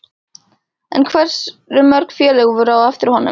En hversu mörg félög voru á eftir honum?